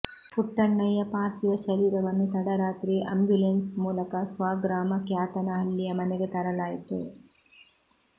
ಪುಟ್ಟಣ್ಣಯ್ಯ ಪಾರ್ಥಿವ ಶರೀರವನ್ನು ತಡರಾತ್ರಿಯೇ ಆಂಬ್ಯುಲೆನ್ಸ್ ಮೂಲಕ ಸ್ವಗ್ರಾಮ ಕ್ಯಾತನಹಳ್ಳಿಯ ಮನೆಗೆ ತರಲಾಯ್ತು